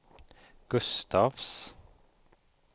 Gustafs